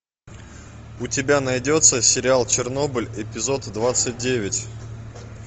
у тебя найдется сериал чернобыль эпизод двадцать девять